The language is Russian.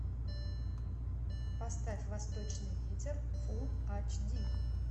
поставь восточный ветер фулл айч ди